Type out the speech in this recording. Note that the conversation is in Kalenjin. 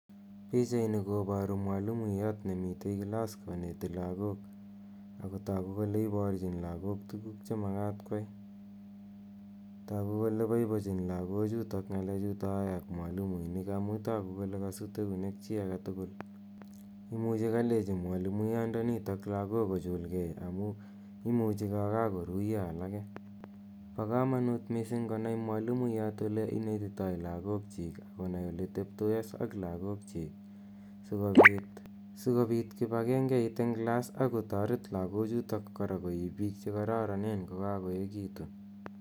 Pichaini koparu mwalimiyat ne mitei klass koneti lagok. Ako tagu kole iparchin lagok tuguk che makat koyai. Tagu kole paipachin lagochutok yae ak mwalimuinik amu tagu kole kasut eunek chi age tugul. Imuchi kalechi kalechi mwalimuyandanitok lagok ko chulgei amu imuchi kakakoruya alake. Pa kamanut missing' ko nai mwalimuyat ole inetitai lagokchik ak konai ole teptos ak lagokchik asikopit kipagengeit eng' klass ak kotaret lagochutok kora koek piik che kararanen ko kakoekitu.